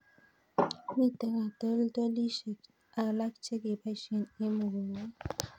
Mito katoltolishek alk che kepoishe eng' mugongiot